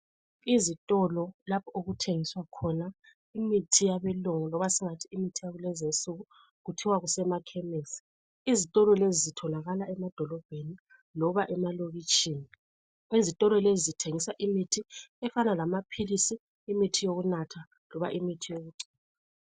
Izitolo lapho okuthengiswa khona imithi yabeLungu loba singathi imithi yakulezinsuku kuthiwa kusemakhemesi. Izitolo lezi zitholakala emadolobheni loba emalokitshini. Izitolo lezi zithengisa imithi efana lamaphilisi, imithi yokunatha loba imithi yokugcoba.